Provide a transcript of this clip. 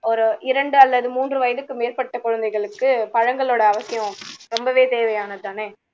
ஒரு இரண்டு அல்லது மூன்று வயதுக்கு மேற்பட்ட குழந்தைகளுக்கு பழங்களோட அவசியம் ரொம்பவே தேவையானது தானே